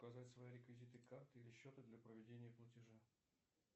указать свои реквизиты карты или счета для проведения платежа